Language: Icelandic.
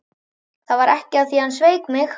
Það var af því að hann sveik mig.